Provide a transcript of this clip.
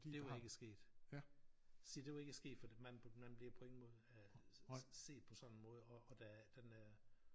Det var ikke sket se det var ikke sket fordi man man bliver på ingen måde øh set på sådan en måde og og der er den er